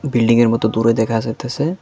বিল্ডিংয়ের মত দূরে দেখা যাইতাছে।